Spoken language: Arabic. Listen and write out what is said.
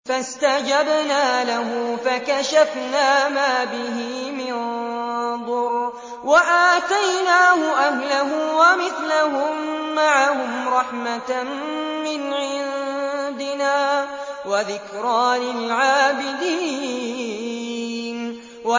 فَاسْتَجَبْنَا لَهُ فَكَشَفْنَا مَا بِهِ مِن ضُرٍّ ۖ وَآتَيْنَاهُ أَهْلَهُ وَمِثْلَهُم مَّعَهُمْ رَحْمَةً مِّنْ عِندِنَا وَذِكْرَىٰ لِلْعَابِدِينَ